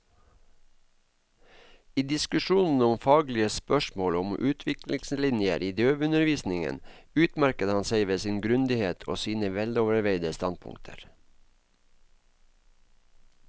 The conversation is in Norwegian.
I diskusjonene om faglige spørsmål og om utviklingslinjer i døveundervisningen utmerket han seg ved sin grundighet og sine veloverveide standpunkter.